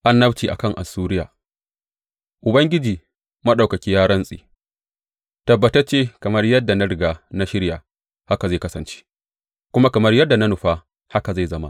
Annabci a kan Assuriya Ubangiji Maɗaukaki ya rantse, Tabbatacce, kamar yadda na riga na shirya, haka zai kasance, kuma kamar yadda na nufa, haka zai zama.